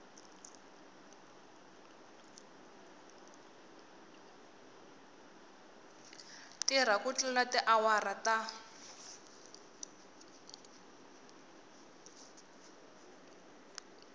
tirha ku tlula tiawara ta